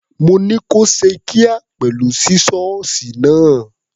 Mo ní kó ṣe kíá pẹ̀lú sísọ́ọ̀sì náà.